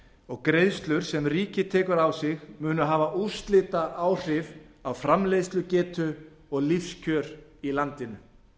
og greiðslur sem ríkið tekur á sig munu hafa úrslitaáhrif á framleiðslugetu og lífskjör í landinu